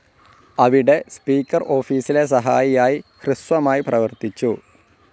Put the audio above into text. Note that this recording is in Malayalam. അവിടെ, സ്പീക്കർ ഓഫീസിലെ സഹായിയായി ഹ്രസ്വമായി പ്രവർത്തിച്ചു.